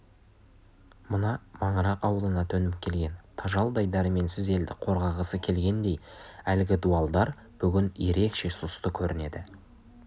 мына маңырақ ауылына төніп келген тажалдай дәрменсіз елді қорғағысы келгендей әлгі дуалдар бүгін ерекше сұсты көрінеді